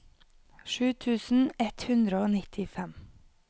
sju tusen ett hundre og nittifem